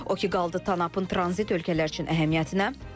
O ki qaldı Tanapın tranzit ölkələr üçün əhəmiyyətinə.